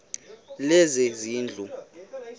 lezezindlu